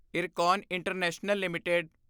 Ircon International LTD